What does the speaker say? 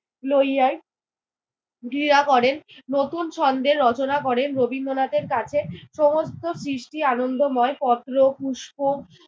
লইয়াই ধ্রীরা করেন, নতুন ছন্দের রচনা করেন। রবীন্দ্রনাথের কাছে সমস্ত সৃষ্টি আনন্দময়। পত্র, পুষ্প